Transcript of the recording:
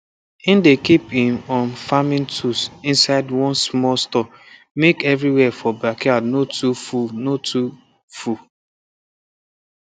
he dey keep him um farming tools inside one small store make everywhere for backyard no too full no too full